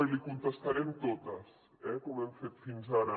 i li contestarem totes eh com hem fet fins ara